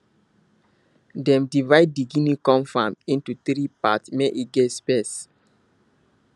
dem divide di guinea corn farm into three part make e get space